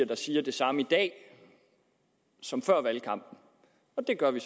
der siger det samme i dag som før valgkampen og det gør vi